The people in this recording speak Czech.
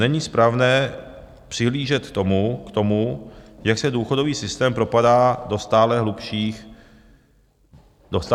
Není správné přihlížet k tomu, jak se důchodový systém propadá do stále hlubších deficitů.